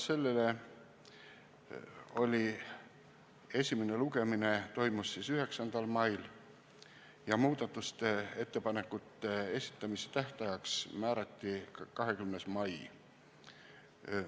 Eelnõu esimene lugemine toimus 9. mail ja muudatuste ettepanekute esitamise tähtajaks määrati 20. mai.